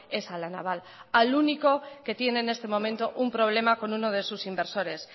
es a la naval al único que tiene en este momento un problema con uno de sus inversores